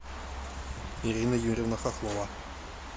ирина юрьевна хохлова